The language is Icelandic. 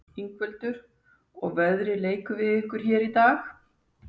Ingveldur: Og veðrið leikur við ykkur hér í dag?